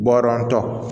Bɔɔrɔntɔ